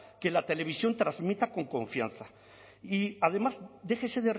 que la televisión transmita con confianza y además déjese